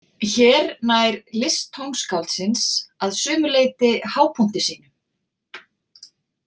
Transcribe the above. Hér nær list tónskáldsins að sumu leyti hápunkti sínum.